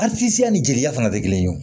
A fiyɛ a ni jeliya fana tɛ kelen ye wo